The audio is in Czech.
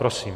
Prosím.